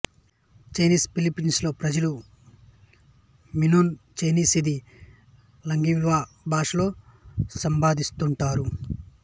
Chinese Filipino ప్రజలు Minnan Chinese ఇది లాంగాంగ్వీ భాషలో సంభాషిస్తుంటారు